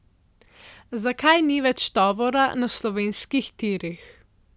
Zakaj ni več tovora na slovenskih tirih?